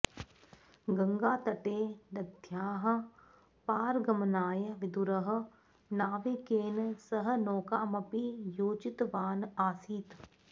गङ्गातटे नद्याः पारगमनाय विदुरः नाविकेन सह नौकामपि योजितवान् आसीत्